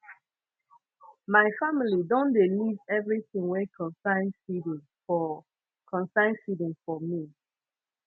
my family don leave everytin wey concern feeding for concern feeding for me